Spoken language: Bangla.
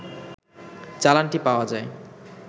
চালানটি পাওয়া যায়